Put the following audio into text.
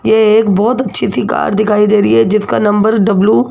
ये एक बहोत अच्छी सी कार दिखाई दे रही है जिसका नंबर डब्लू --